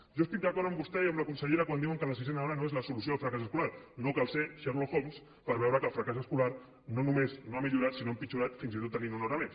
jo estic d’acord amb vostès i amb la consellera quan diuen que la sisena hora no és la solució al fracàs escolar no cal ser sherlock holmes per veure que el fracàs escolar no només no ha millorat sinó que ha empitjorat fins i tot tenint una hora més